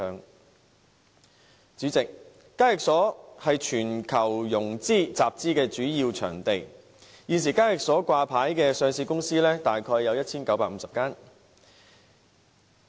代理主席，港交所是全球融資和集資的主要場地，現時在港交所掛牌的上市公司約有 1,950 間。